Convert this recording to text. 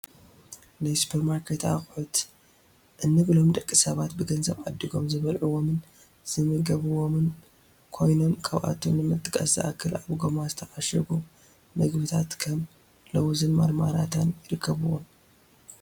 ናይ ሱፐርማርኬት ኣቕሑት እንብሎም ደቂ ሰባት ብገንዘብ ዓዲጎም ዝበልዕዎምን ዝምገብዎምን ኮይኖም ካብኣቶም ንምጥቃስ ዝኣክል ኣብ ጎማ ዝተዓሸጉ ምግብታት ከም ሎውዝን ማርማላታን ይርከብዎም፡፡